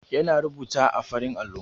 Yana rubuta a farin allon.